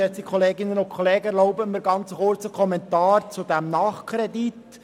Erlauben Sie mir einen ganz kurzen Kommentar zu diesem Nachkredit.